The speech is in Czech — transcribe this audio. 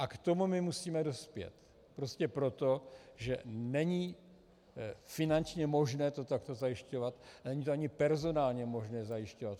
A k tomu my musíme dospět prostě proto, že není finančně možné to takto zajišťovat, není to ani personálně možné zajišťovat.